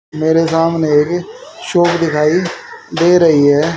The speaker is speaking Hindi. मेरे सामने एक शॉप दिखाई दे रही है।